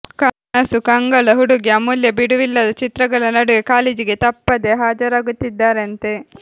ಕನಸು ಕಂಗಳ ಹುಡುಗಿ ಅಮೂಲ್ಯ ಬಿಡುವಿಲ್ಲದ ಚಿತ್ರಗಳ ನಡುವೆ ಕಾಲೇಜಿಗೆ ತಪ್ಪ್ಪದೆ ಹಾಜರಾಗುತ್ತಿದ್ದಾರಂತೆ